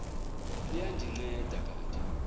liya ndinceda kanti